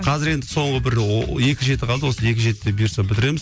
қазір енді соңғы бір екі жеті қалды осы екі жетіде бұйырса бітіреміз